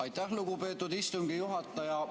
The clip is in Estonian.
Aitäh, lugupeetud istungi juhataja!